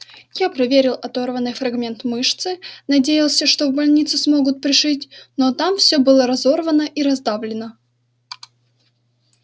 я проверил оторванный фрагмент мышцы надеялся что в больнице смогут пришить но там всё было разорвано и раздавлено